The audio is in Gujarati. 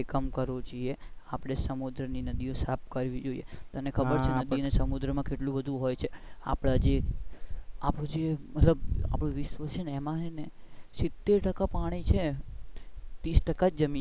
કામ કરવું જોઈએ આપણે સમુદ્ર ને નદીઓ સાફ કરવી જોઈએ તને ખબર છે ને નદી ને સમુદ્ર માં કેટલું બધું હોય છે આપણે જે આપણું જે મતલબ વિશ્વ છે ને સિતેર ટાકા પાણી છે તીસ ટાકા જ જમીન છે.